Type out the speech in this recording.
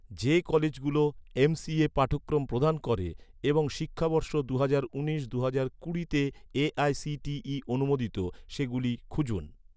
যে কলেজগুলো, এমসিএ পাঠক্রম প্রদান করে এবং শিক্ষাবর্ষ দুহাজার উনিশ দুহাজার কুড়িতে এ.আই.সি.টি.ই অনুমোদিত, সেগুলো খুঁজুন